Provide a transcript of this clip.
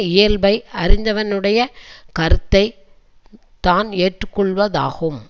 இயல்பை அறிந்தவனுடையக் கருத்தை தான் ஏற்று கொள்ளவதாகும்